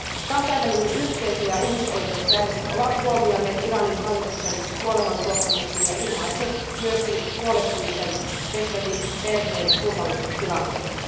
Kansainvälinen yhteisö ja ihmisoikeusjärjestöt ovat huomioineet Iranin hallituksen kuolemantuottamuksen ja ilmaisseet myös huolestumisen Beheshtin perheen turvallisuustilanteesta.